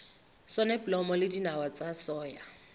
soneblomo le dinawa tsa soya